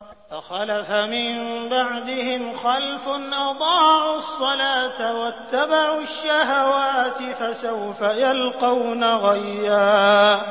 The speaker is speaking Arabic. ۞ فَخَلَفَ مِن بَعْدِهِمْ خَلْفٌ أَضَاعُوا الصَّلَاةَ وَاتَّبَعُوا الشَّهَوَاتِ ۖ فَسَوْفَ يَلْقَوْنَ غَيًّا